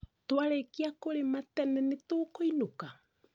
Twarĩkia kũrĩma tene nĩtũkũinũka?